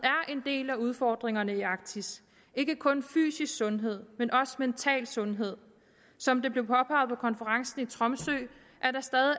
er en del af udfordringerne i arktis ikke kun fysisk sundhed men også mental sundhed som det blev påpeget på konferencen i tromsø